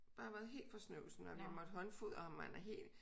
Bare har været helt fra snøvsen og vi har måtte håndfodre ham og han er helt